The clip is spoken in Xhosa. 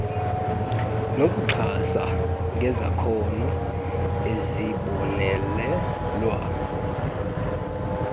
nokuxhasa ngezakhono ezibonelelwa